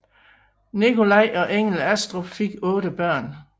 Nikolai og Engel Astrup fik otte børn